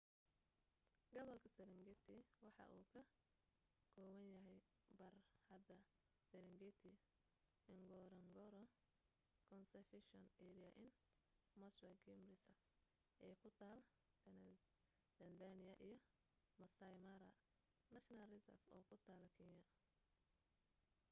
gobolka serengeti waxa uu ka kooban yahay barxadda sarengeti ngorongoro conservation area iyo maswa game reserve ee ku taal tanzania iyo maasai mara national reserve oo ku taal kenya